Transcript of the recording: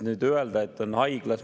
Nüüd öelda, et on haiglas …